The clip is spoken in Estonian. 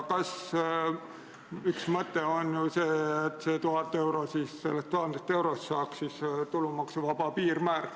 Üks mõte on ju see, et sellest 1000 eurost saaks tulumaksuvaba piirmäär.